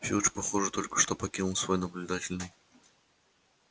филч похоже только что покинул свой наблюдательный